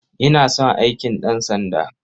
Ina son aikin ɗansanda.